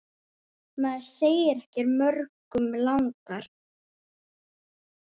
Maður segir ekki mörgum langar.